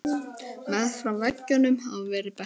Meðfram veggjum hafa verið bekkir.